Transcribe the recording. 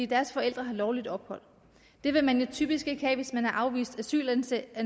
deres forældre har lovligt ophold det vil man typisk ikke have hvis man er afvist asylansøger